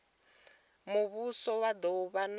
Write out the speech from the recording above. muvhuso vha do vha na